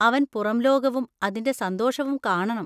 അവൻ പുറംലോകവും അതിന്‍റെ സന്തോഷവും കാണണം.